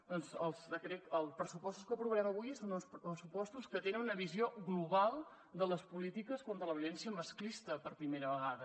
doncs els pressupostos que aprovarem avui són propostes que tenen una visió global de les polítiques contra la violència masclista per primera vegada